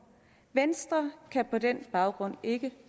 venstre kan på den baggrund ikke